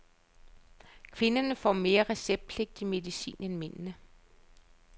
Kvinderne får mere receptpligtig medicin end mændene.